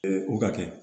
o ka kɛ